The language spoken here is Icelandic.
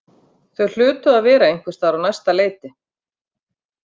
Þau hlutu að vera einhvers staðar á næsta leiti.